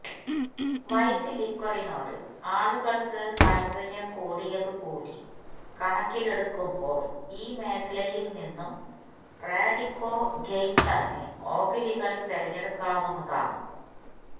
white ലിക്വറിനോട് ആളുകള്ക്ക് താത്പര്യം കൂടിയതു കൂടി കണക്കിലെടുക്കുമ്പോള് ഈ മേഖലയില് നിന്നും റാഡിക്കോ ഖെയ്താന് ഓഹരികള് തിരഞ്ഞെടുക്കാവുന്നതാണ്